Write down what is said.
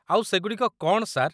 ଆଉ ସେଗୁଡ଼ିକ କ'ଣ, ସାର୍?